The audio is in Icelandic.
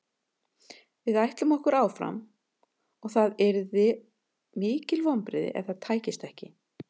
Við ætlum okkur áfram og það yrðu mikil vonbrigði ef það tækist ekki.